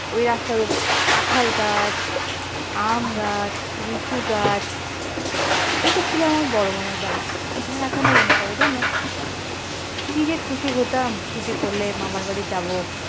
ওই রাস্তার উপরে কাঁঠাল গাছ আম গাছ লিচু গাছ এটা ছিল আমার বড় মামার বাড়ি। আমার এখনো মনে পড়ে জান কি যে খুশি হতাম ছুটি পড়লে মামার বাড়ি যাব।